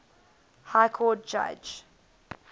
high court judge